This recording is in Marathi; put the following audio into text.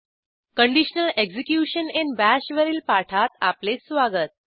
कंडिशनल एक्झिक्युशन इन बाश वरील पाठात आपले स्वागत